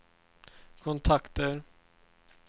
kontakter